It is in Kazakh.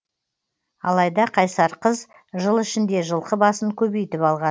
алайда қайсар қыз жыл ішінде жылқы басын көбейтіп алған